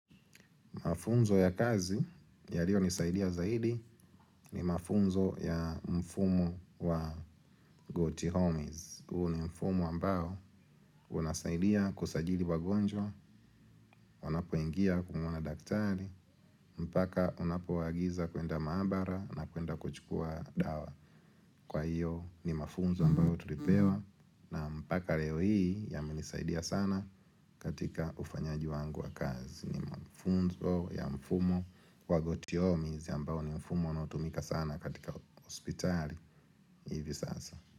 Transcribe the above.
Mafunzo ya kazi ya liyo nisaidia zaidi ni mafunzo ya mfumo wa goti homies. Uo ni mfumo ambao unasaidia kusajili wagonjwa, wanapoingia kumuona daktari, mpaka unapoagiza kuenda maabara na kuenda kuchukua dawa. Kwa hiyo ni mafunzo ambayo tulipewa na mpaka leo hii ya menisaidia sana katika ufanyaji wangu wa kazi. Ni mafunzo ya mfumo Wagoti homies ambao ni mfumo unaotumika sana katika hospitali hivi sasa.